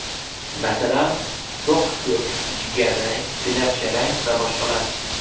Masalan, to‘q ko‘k, jigarrang, binafsharang va boshqalar.